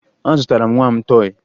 Azụtara m nwa m tọọyị